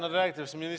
Aitäh!